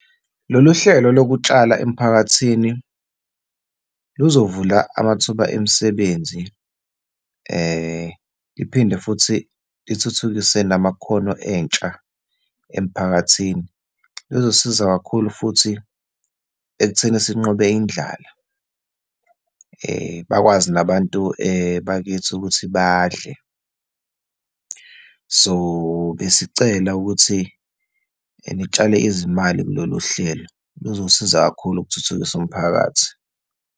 Lolu hlelo lokutshala emphakathini luzovula amathuba emisebenzi, liphinde futhi lithuthukise namakhono entsha emphakathini. Luzosiza kakhulu futhi ekutheni sinqobe indlala, bakwazi nabantu bakithi ukuthi badle. So, besicela ukuthi nitshale izimali kulolu hlelo. Luzosiza kakhulu ukuthuthukisa umphakathi.